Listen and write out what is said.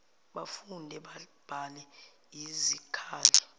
bafunde babhale yizikhali